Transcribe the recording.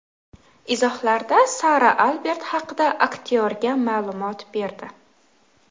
Izohlarda Sara Albert haqida aktyorga ma’lumot berdi.